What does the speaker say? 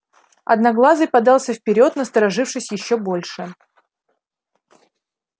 одноглазый подался вперёд насторожившись ещё больше